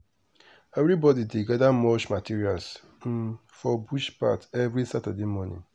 everybody dey gather mulch materials um for bush path every saturday morning.